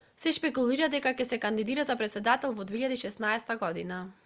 се шпекулира дека ќе се кандидира за претседател во 2016 година